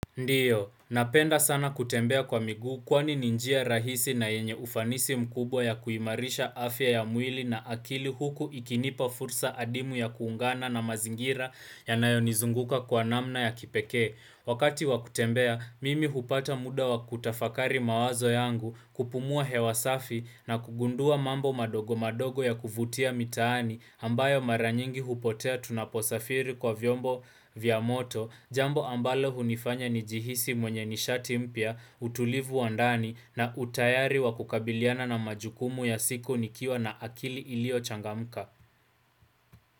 Ndiyo, napenda sana kutembea kwa miguu kwani ni njia rahisi na yenye ufanisi mkubwa ya kuimarisha afya ya mwili na akili huku ikinipa fursa adimu ya kuungana na mazingira yanayonizunguka kwa namna ya kipekee. Wakati wa kutembea, mimi hupata muda wa kutafakari mawazo yangu, kupumua hewa safi, na kugundua mambo madogo madogo ya kuvutia mitaani ambayo mara nyingi hupotea tunaposafiri kwa vyombo vya moto, jambo ambalo hunifanya nijihisi mwenye nishati mpya, utulivu wa ndani, na utayari wa kukabiliana na majukumu ya siku nikiwa na akili iliyochangamka.